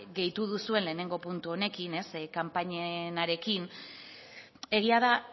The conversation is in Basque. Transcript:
gehitu duzuen lehenengo puntu honekin kanpainenarekin egia da